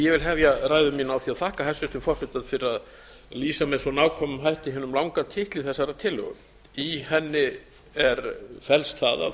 vil hefja ræðu mína á því að þakka hæstvirtum forseta fyrir að lýsa með svo nákvæmum hætti hinum langa titli þessarar tillögu í henni felst það að það er